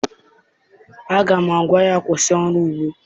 Aga m agwa ya, kwụsị ọrụ ugbo!